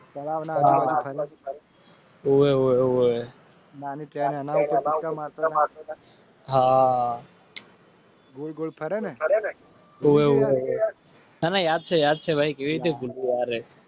તળાવનાઓવે ઓવે હાબોલ બોલ કરેતને યાદ છે યાદ છે ભાઈ કેવી રીતે ગુરુવારે